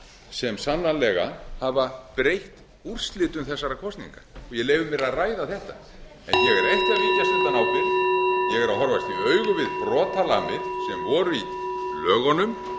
sem sannarlega hafa breytt úrslitum þessara kosninga ég leyfði mér að ræða þetta en ég er ekki að víkjast undan ábyrgð ég er að horfast í augu við brotalamir sem voru í lögunum